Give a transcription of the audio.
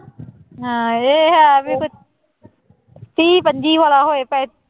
ਹਾਂ ਇਹ ਹੈ ਵੀ ਤੀਹ ਪੰਜੀ ਵਾਲਾ ਹੋਏ ਤੇ